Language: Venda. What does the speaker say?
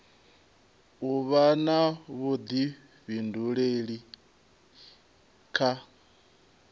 u vha na vhuḓifhinduleli kha